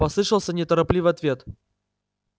послышался неторопливый ответ